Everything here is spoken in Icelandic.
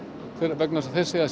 vegna þess að þeir segja að